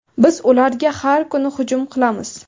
Biz ularga har kuni hujum qilamiz.